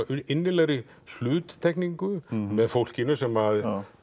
innilegri hluttekningu með fólkinu sem